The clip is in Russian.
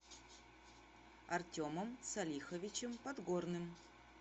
артемом салиховичем подгорным